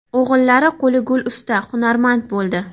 O‘g‘illari qo‘li gul usta, hunarmand bo‘ldi.